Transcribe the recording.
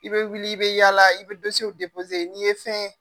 I bɛ wuli i bɛ yaala i bɛ depse n'i ye fɛn